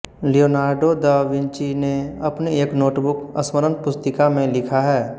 Leonardo da Vinci ने अपनी एक नोटबुक स्मरणपुस्तिका में लिखा है